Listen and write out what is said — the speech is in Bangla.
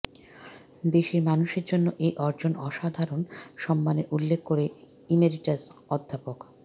দেশের মানুষের জন্য এ অর্জন অসাধারণ সম্মানের উল্লেখ করে ইমেরিটাস অধ্যাপক ড